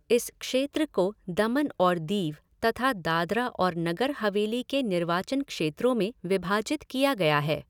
इस क्षेत्र को दमन और दीव तथा दादरा और नगर हवेली के निर्वाचन क्षेत्रों में विभाजित किया गया है।